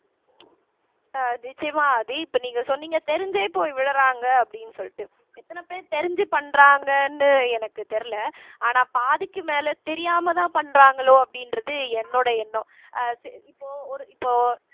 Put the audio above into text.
அஹ் நிச்சயமா ஆதி இப்ப நீங்க சொன்னீங்க தெரிஞ்சே போய் விழுறாங்க அப்படின்னு சொல்லிட்டு எத்தன பேர் தெரிஞ்சு பண்றாங்கன்னு எனக்கு தெரியலே ஆனா பாதிக்கு மேல தெரியாமதான் பண்றாங்களோ அப்படின்றது என்னோட எண்ணம் அஹ் இப்போ ஒரு இப்போ